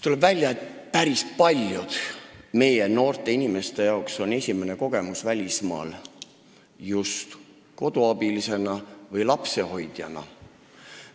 Tuleb välja, et päris paljude meie noorte inimeste jaoks on esimene välismaakogemus just koduabiliseks või lapsehoidjaks olek.